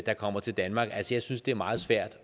der kommer til danmark jeg synes det er meget svært